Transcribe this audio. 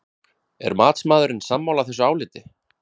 Er matsmaðurinn sammála þessu áliti?